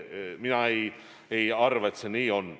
Ma ei arva, et see nii on.